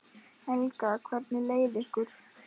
Helga: Hvernig leið ykkur?